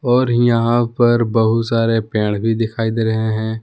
और यहां पर बहुत सारे पेड़ भी दिखाई दे रहे हैं।